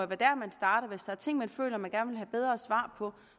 der man starter hvis der er ting man føler man gerne vil have bedre svar på